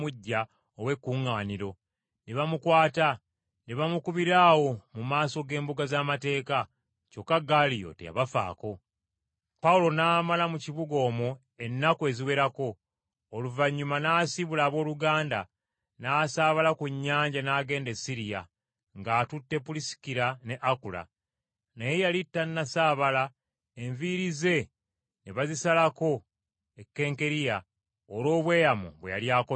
Pawulo n’amala mu kibuga omwo ennaku eziwerako, oluvannyuma n’asiibula abooluganda n’asaabala ku nnyanja n’agenda e Siriya, ng’atutte Pulisikira ne Akula. Naye yali tannasaabala, enviiri ze ne bazisalirako e Kenkereya olw’obweyamo bwe yali akoze.